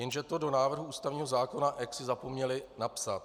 Jenže to do návrhu ústavního zákona jaksi zapomněli napsat.